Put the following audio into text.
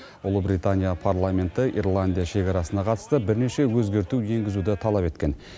ұлыбритания парламенті ирландия шекарасына қатысты бірнеше өзгерту енгізуді талап еткен